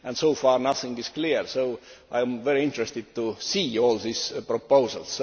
So far, nothing is clear, so I am very interested to see all these proposals.